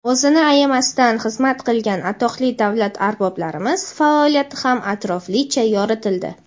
o‘zini ayamasdan xizmat qilgan atoqli davlat arboblarimiz faoliyati ham atroflicha yoritildi.